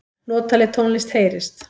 Notaleg tónlist heyrist.